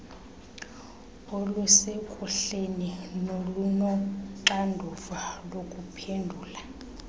olusekuhleni nolunoxanduva lokuphendula